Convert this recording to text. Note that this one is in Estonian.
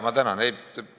Ma tänan!